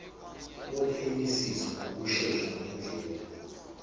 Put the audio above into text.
wophenyisiso ngokushesha ngendlela